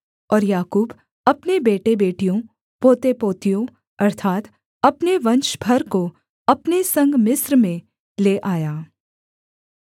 और याकूब अपने बेटेबेटियों पोतेपोतियों अर्थात् अपने वंश भर को अपने संग मिस्र में ले आया